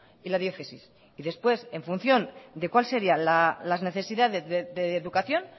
y la diócesis y después en función de cuál sería las necesidades de educación